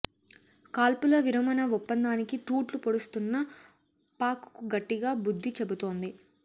కాల్పుల విరమణ ఒప్పందానికి తూట్లు పొడుస్తున్న పాక్ కు గట్టిగా బుద్ధి చెబుతోంది